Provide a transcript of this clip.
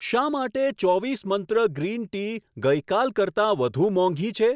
શા માટે ચોવીસ મંત્ર ગ્રીન ટી ગઈ કાલ કરતાં વધુ મોંઘી છે?